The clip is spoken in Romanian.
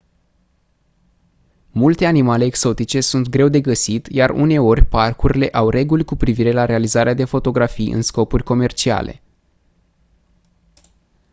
multe animale exotice sunt greu de găsit iar uneori parcurile au reguli cu privire la realizarea de fotografii în scopuri comerciale